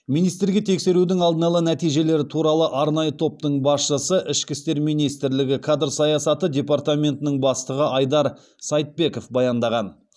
министрге тексерудің алдын ала нәтижелері туралы арнайы топтың басшысы ішкі істер министрлігі кадр саясаты департаментінің бастығы айдар сайтбеков баяндаған